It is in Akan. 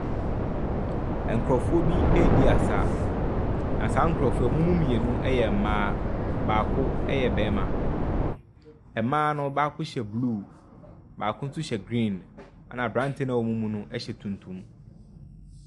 Nkurɔfoɔ bi redi asa, na saa nkurɔfoɔ yi, wɔn mu mmienu yɛ mmaa. Baako yɛ barima. Mmaa no baako hyɛ blue, baako nso hyɛ green, ɛnna aberanteɛ a ɔwɔ wɔn mu no hyɛ tuntum.